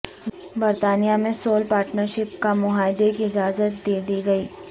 برطانیہ میں civil partnership کا معاہدے کی اجازت دیدی گئی